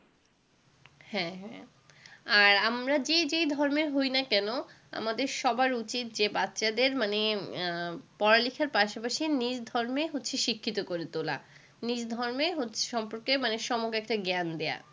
হ্যাঁ হ্যাঁ। আর আমরা যে যে ধর্মের হই না কেন, আমাদের সবার উচিত যে বাচ্চাদের মানে আহ পড়া-লিখার পাশাপাশি নিধর্মে হচ্ছে শিক্ষিত করে তোলা। নিধর্ম হচ্ছে সম্পর্কে মানে সমগ্র একটা জ্ঞান দেওয়া।